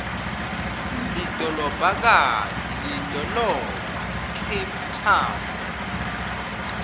lidolobhakati lidolobhacape town